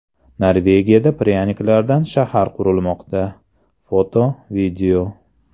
Norvegiyada pryaniklardan shahar qurilmoqda (foto+video).